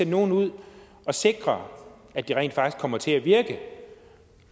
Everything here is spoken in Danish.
nogle ud og sikre at de rent faktisk kommer til at virke